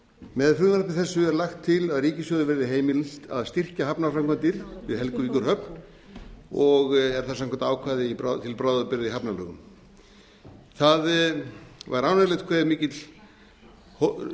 með frumvarpi þessu er lagt til að ríkissjóði verði heimilt að styrkja hafnarframkvæmdir við helguvíkurhöfn er það samkvæmt ákvæði til bráðabirgða í hafnalögum það var ánægjulegt hve